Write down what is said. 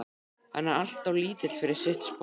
Hann er alltof lítill fyrir sitt sport.